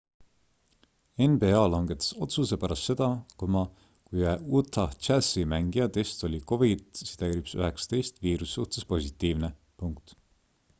nba langetas otsuse pärast seda kui ühe utah jazzi mängija test oli covid-19 viiruse suhtes positiivne